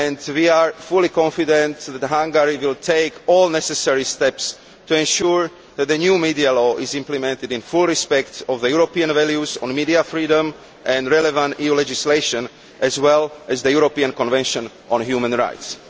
We are fully confident that Hungary will take all the necessary steps to ensure that the new media law is implemented with full respect for European values on media freedom and for the relevant EU legislation as well as the European Convention on Human Rights.